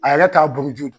A yɛrɛ t'a buguruju